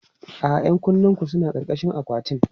A'a, 'yan kunnenku suna ƙarƙashin akwatin.